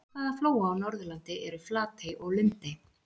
Í hvaða flóa á Norðurlandi eru Flatey og Lundey?